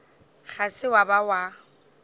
ga se wa ba wa